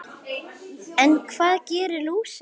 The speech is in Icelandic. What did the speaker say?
En hvað gerir lúsin?